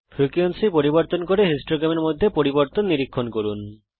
frequency পরিবর্তন করুন এবং বারলেখার মধ্যে পরিবর্তন নিরীক্ষণ করুন